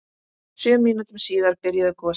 Sjö mínútum síðar byrjuðu gosin.